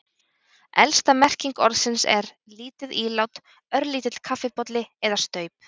Elsta merking orðsins er, lítið ílát, örlítill kaffibolli eða staup.